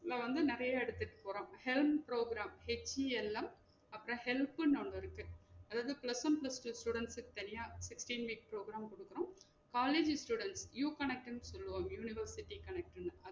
இத வந்து நெறையா எடுத்துட்டு போறோம் health program H E L M அப்றம் help ன்னு ஒன்னு இருக்கு அதாவது plus one plus two student க்கு தனிய sixteen minutes program குடுக்குறோம் காலேஜ் student U கணக்குன்னு சொல்லுவாங் university கணக்குன்னு